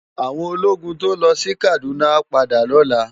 Áwòn ólógùn tó lò si Kaduna á pádà lòlá